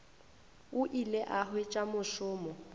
o ile a hwetša mošomo